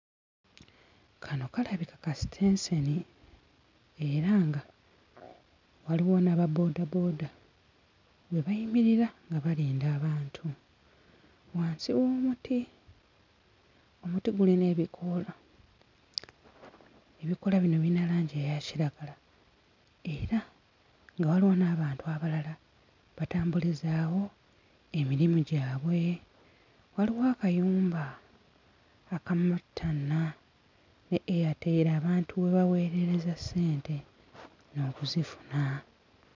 Kano kalabika kasitenseni era nga waliwo n'ababoodabooda we bayimirira nga balinda abantu wansi w'omuti omuti gulina ebikoola ebikoola bino birina langi eya kiragala era nga waliwo n'abantu abalala batambulizaawo emirimu gyabwe. Waliwo akayumba aka MTN ne Airtel abantu we baweerereza ssente n'okuzifuna.